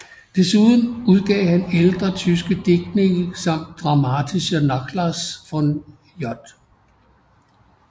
Desuden udgav han ældre tyske digtninge samt Dramatischer Nachlass von J